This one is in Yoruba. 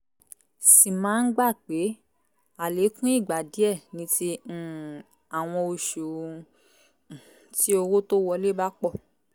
sì máa ń gbà pé àlékún ìgbà díẹ̀ ni ti um àwọn oṣù um tí owó tó wọlé bá pọ̀